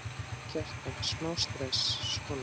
Kjartan: Smá stress, svona?